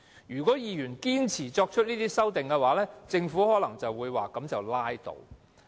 如果議員堅持提出修正案，政府可能會說這樣便拉倒。